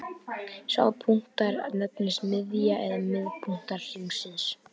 Sá punktur nefnist miðja eða miðpunktur hringsins.